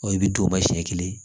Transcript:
Ɔ i bɛ don ba siɲɛ kelen